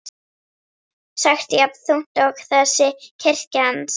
sagt jafn þungt og þessi kirkja hans.